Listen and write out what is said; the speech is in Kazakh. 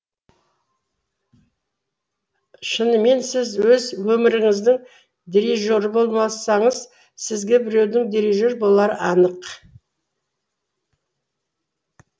шынымен сіз өз өміріңіздің дирижері болмасаңыз сізге біреудің дирижер болары анық